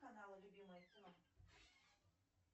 канал любимое кино